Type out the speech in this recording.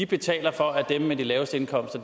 betaler for at dem med de laveste indkomster